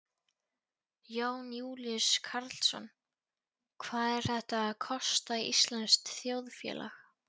Jón Júlíus Karlsson: Hvað er þetta að kosta íslenskt þjóðfélag?